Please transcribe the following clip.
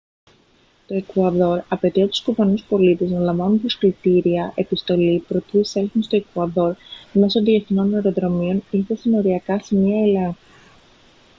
το εκουαδόρ απαιτεί από τους κουβανούς πολίτες να λαμβάνουν προσκλητήρια επιστολή προτού εισέλθουν στο εκουαδόρ μέσω διεθνών αεροδρομίων ή στα συνοριακά σημεία ελέγχου